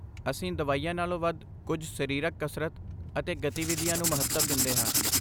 ਅਸੀਂ ਦਵਾਈਆਂ ਨਾਲੋਂ ਵਧ ਕੁਝ ਸਰੀਰਕ ਕਸਰਤ ਅਤੇ ਗਤੀਵਿਧੀਆਂ ਨੂੰ ਮਹੱਤਵ ਦਿੰਦੇ ਹਾਂ।